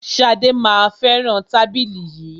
Ṣadé má a fẹràn tábìlì yìí.